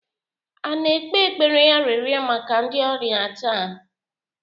a na-ekpe ekpere arịrịọ maka ndị ọrịa taa?